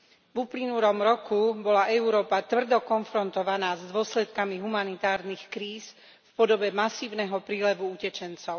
V uplynulom roku bola Európa tvrdo konfrontovaná s dôsledkami humanitárnych kríz v podobe masívneho prílevu utečencov.